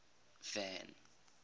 van